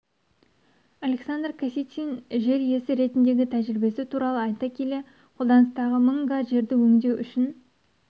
александр касицин жер иесі ретіндегі тәжірибесі туралы айта келе қолданыстағы мың га жерді өңдеу үшін